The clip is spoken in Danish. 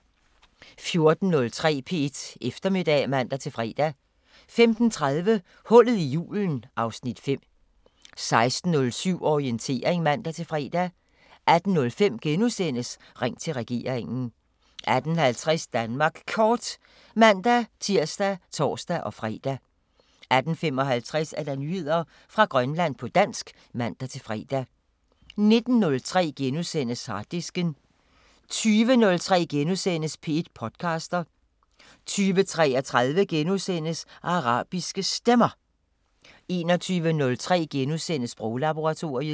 14:03: P1 Eftermiddag (man-fre) 15:30: Hullet i julen (Afs. 5) 16:07: Orientering (man-fre) 18:05: Ring til regeringen * 18:50: Danmark Kort (man-tir og tor-fre) 18:55: Nyheder fra Grønland på dansk (man-fre) 19:03: Harddisken * 20:03: P1 podcaster * 20:33: Arabiske Stemmer * 21:03: Sproglaboratoriet *